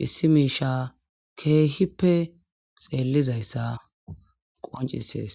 hissi miisha keehippe xeellizayssa qoncisees